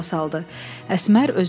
Əsmər özünü itirmişdi.